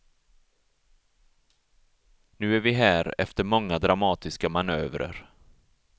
Nu är vi här efter många dramatiska manövrer.